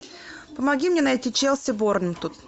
помоги мне найти челси борнмут